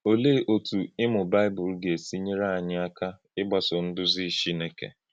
Ọ̀lee otú ịmụ̀ Baịbụl ga-esi nyere anyị aka ị̀gbàsò nduzi Chineke?